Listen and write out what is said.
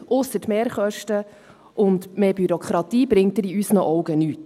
Ausser Mehrkosten und mehr Bürokratie bringt er in unseren Augen nichts.